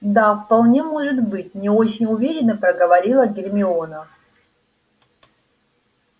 да вполне может быть не очень уверенно проговорила гермиона